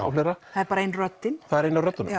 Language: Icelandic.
það er bara ein röddin það er ein af röddunum